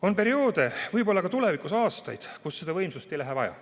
On perioode, võib-olla tulevikus ka aastaid, kui seda võimsust ei lähe vaja.